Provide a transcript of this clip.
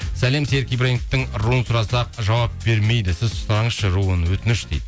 сәлем серік ибрагимовтың руын сұрасақ жауап бермейді сіз сұраңызшы руын өтініш дейді